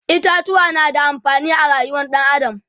itatuwa na da amfani a rayuwar ɗan adam